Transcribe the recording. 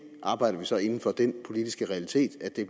arbejder vi så inden for den politiske realitet at det